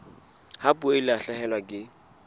ha puo e lahlehelwa ke